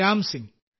Ram Singh